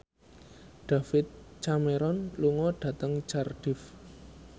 David Cameron lunga dhateng Cardiff